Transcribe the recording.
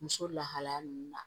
Muso lahalaya nunnu na